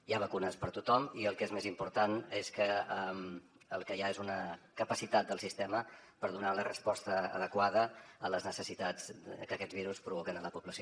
hi ha vacunes per a tothom i el que és més important és que el que hi ha és una capacitat del sistema per donar la resposta adequada a les necessitats que aquests virus provoquen a la població